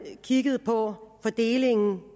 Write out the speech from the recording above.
kigge på fordelingen